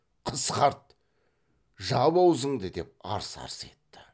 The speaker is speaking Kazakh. қысқарт жап аузыңды деп арс арс етті